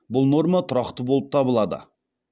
бұл норма тұрақты болып табылады